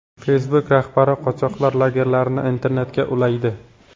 Facebook rahbari qochoqlar lagerlarini internetga ulaydi.